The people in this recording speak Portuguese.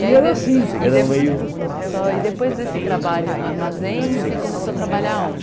E era assim, era meio... Só e depois desse trabalho no armazém, você começou a trabalhar onde?